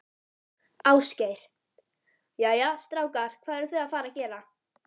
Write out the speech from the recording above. Ásgeir: Jæja, strákar, hvað eruð þið að fara að gera?